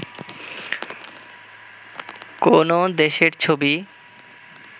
কোনও দেশের ছবি